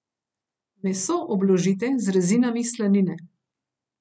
Meso obložite z rezinami slanine.